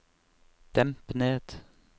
demp ned